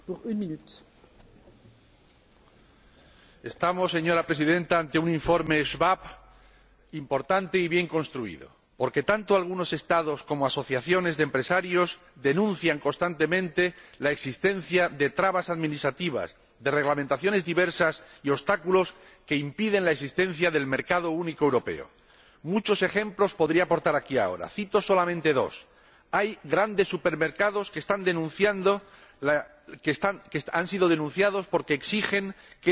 Señora Presidenta, estamos ante un informe, el informe Schwab, importante y bien construido, porque tanto algunos Estados como determinadas asociaciones de empresarios denuncian constantemente la existencia de trabas administrativas, de reglamentaciones diversas y de obstáculos que impiden la existencia del mercado único europeo. Muchos ejemplos podría aportar aquí ahora. Cito solamente dos hay grandes supermercados que han sido denunciados porque exigen que la carne del embutido que venden sea carne de origen nacional